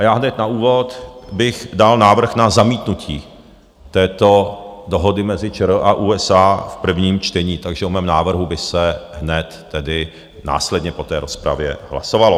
A já hned na úvod bych dal návrh na zamítnutí této dohody mezi ČR a USA v prvním čtení, takže o mém návrhu by se hned tedy následně po té rozpravě hlasovalo.